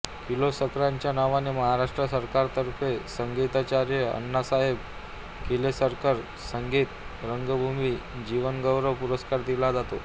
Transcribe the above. किर्लोस्करांच्या नावाने महाराष्ट्र सरकारतर्फे संगीताचार्य अण्णासाहेब किर्लोस्कर संगीत रंगभूमी जीवनगौरव पुरस्कार दिला जातो